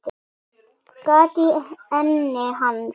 Gat í enni hans.